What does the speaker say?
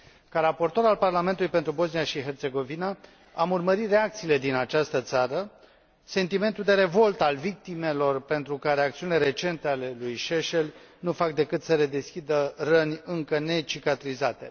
Ca raportor al Parlamentului pentru Bosnia și Herțegovina, am urmărit reacțiile din această țară, sentimentul de revoltă al victimelor pentru care acțiunile recente ale lui Šešelj nu fac decât să redeschidă răni încă necicatrizate.